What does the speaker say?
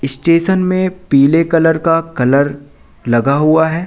Station में पीले colour का कलर लगा हुआ है।